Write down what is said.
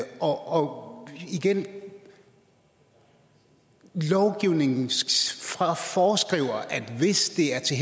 og igen lovgivningen foreskriver at hvis det er til